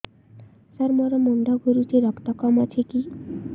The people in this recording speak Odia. ସାର ମୋର ମୁଣ୍ଡ ଘୁରୁଛି ରକ୍ତ କମ ଅଛି କି